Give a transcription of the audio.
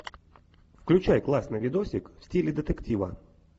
включай классный видосик в стиле детектива